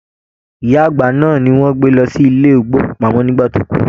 Ìyá àgbà náà ní wọn gbé lọ sí ilé ìgbòkúpamọ nígbà tí o kú.